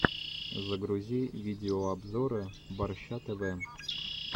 загрузи видеообзоры борща тв